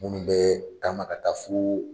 Munnu bɛɛ taama ka taa foo